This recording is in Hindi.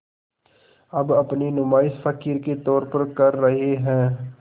अब अपनी नुमाइश फ़क़ीर के तौर पर कर रहे हैं